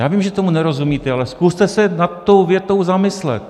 Já vím, že tomu nerozumíte, ale zkuste se nad tou větou zamyslet.